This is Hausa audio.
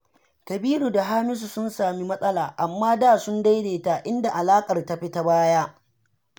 Kabiru da Hamisu sun sami matsala, amma da sun daidaita, inda alaƙar ta fi ta baya.